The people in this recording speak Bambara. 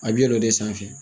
A bi yɛlɛ o de sanfɛ.